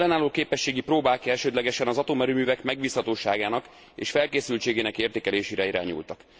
Az ellenálló képességi próbák elsődlegesen az atomerőművek megbízhatóságának és felkészültségének értékelésére irányultak.